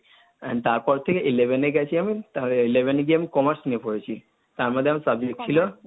And তারপর থেকে eleven এ গেছি আমি, তাহলে eleven এ গিয়ে আমি Commerce নিয়ে পড়েছি। তার মধ্যে আমার subject ছিল